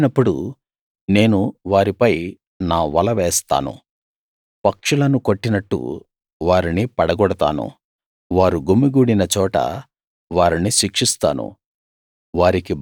వారు వెళ్ళినప్పుడు నేను వారిపై నా వల వేస్తాను పక్షులను కొట్టినట్టు వారిని పడగొడతాను వారు గుమిగూడిన చోట వారిని శిక్షిస్తాను